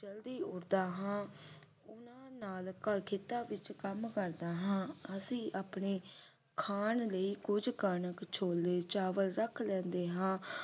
ਜਲਦੀ ਉਠਦਾ ਹਾਂ ਉਨ੍ਹਾਂ ਨਾਲ ਖੇਤਾਂ ਵਿਚ ਕਮ ਕਰਦਾ ਹਾਂ ਅਸੀਂ ਆਪਣੇ ਖਾਣ ਲਈ ਕੁਝ ਕਣਕ ਛੋਲੇ ਚਾਵਲ ਰੱਖ ਲੈਨੇ ਆਂ